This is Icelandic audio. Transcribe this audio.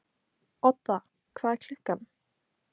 Odda, hvað er klukkan?